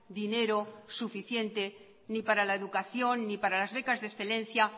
dinero suficiente ni para la educación ni para las becas de excelencia